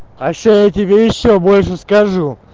а ещё я тебе ещё больше скажу